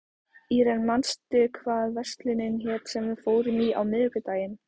Irene, manstu hvað verslunin hét sem við fórum í á miðvikudaginn?